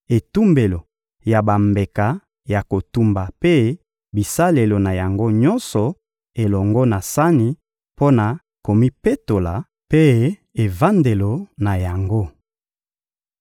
etumbelo ya bambeka ya kotumba mpe bisalelo na yango nyonso elongo na sani mpo na komipetola mpe evandelo na yango.